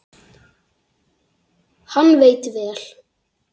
Hann veitti vel